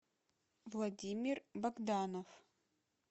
владимир богданов